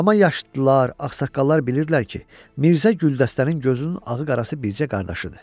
Amma yaşlılar, ağsaqqallar bilirdilər ki, Mirzə güldəstənin gözünün ağı-qarası bircə qardaşıdır.